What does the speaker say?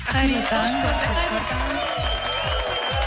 қайырлы таң қош көрдік қайырлы таң